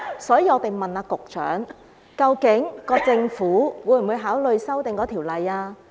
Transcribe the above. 所以，我們問局長，究竟政府會否考慮修訂《條例》？